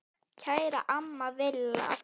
Kæra amma Villa.